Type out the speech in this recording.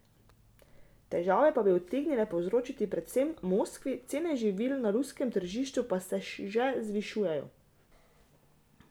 Težave pa bi utegnile povzročiti predvsem Moskvi, cene živil na ruskem tržišču pa se že zvišujejo.